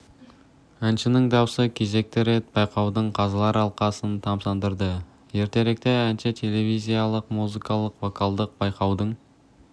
әншінің даусы кезекті рет байқаудың қазылар алқасын тамсандырды ертеректе әнші телевизиялық музыкалық-вокалдық байқаудың